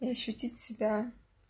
и ощутить себя